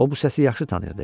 O bu səsi yaxşı tanıyırdı.